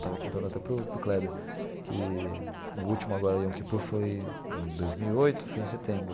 Estava contando até para o para o Kleber que o último agora Yom Kippur foi em dois mil e oito, foi em setembro.